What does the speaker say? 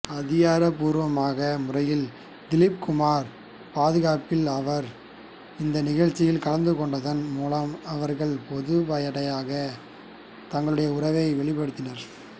அதிகாரப்பூர்வமான முறையில் திலிப் குமாரின் பாதுகாப்பி்ல் அவர் இந்த நிகழ்ச்சியில் கலந்துகொண்டதன் மூலம் அவர்கள் பொதுப்படையாக தங்களுடைய உறவை வெளிப்படுத்தினர்